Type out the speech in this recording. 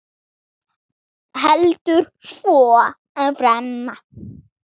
Heldur svo áfram